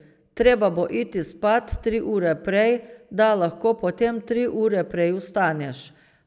Treba bo iti spat tri ure prej, da lahko potem tri ure prej vstaneš.